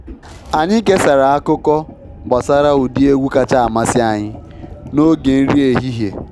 Anyị kesara akụkọ gbasara ụdị egwu kacha amasị anyị n’oge nri ehihie.